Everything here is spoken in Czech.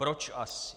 Proč asi?